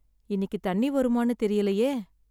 இன்னிக்கி தண்ணி வருமான்னு தெரியலையே.